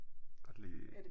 Godt lide